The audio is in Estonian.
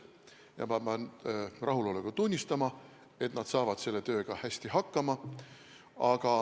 Ja ma pean rahuloluga tunnistama, et nad saavad selle tööga hästi hakkama.